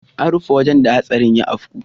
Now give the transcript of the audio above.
An rufe wurin da hatsarin ya afku.